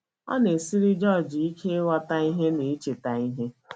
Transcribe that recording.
Ọ na - esiri George ike ịghọta ihe na icheta ha.